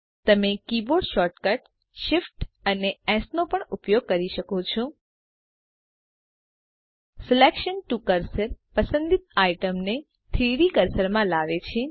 તમે keyboard shortcut shift અને S નો પણ ઉપયોગ કરી શકો છો સિલેક્શન ટીઓ કર્સર પસંદિત આઈટમ ને 3ડી કર્સરમાં લાવે છે